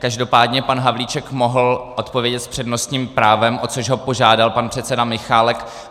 Každopádně pan Havlíček mohl odpovědět s přednostním právem, o což ho požádal pan předseda Michálek.